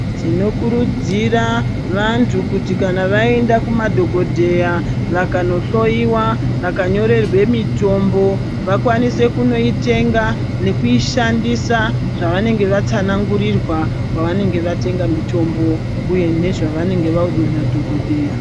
Tinokurudzira vantu kuti kana vaenda kumadhokodheya vakanohloiwa vakanyorerwa mutombo vakwanise kunoitenga nekuishandisa zvacanenge vatsanangurirwa kwavanenge vatenda mutombo uye nezvevanenge caudzwa nadhokodheya .